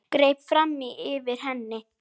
Greip fram í fyrir henni.